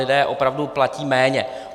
Lidé opravdu platí méně.